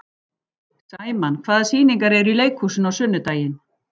Sæmann, hvaða sýningar eru í leikhúsinu á sunnudaginn?